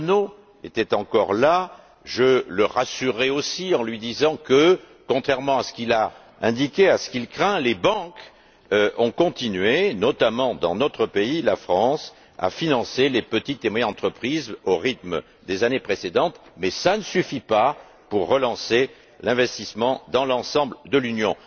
Monot était encore là, je le rassurerais aussi en lui disant que, contrairement à ce qu'il a indiqué et à ce qu'il craint, les banques ont continué, notamment dans notre pays, la France, à financer les petites et moyennes entreprises au rythme des années précédentes, mais cela ne suffit pas pour relancer l'investissement dans l'ensemble de l'Union.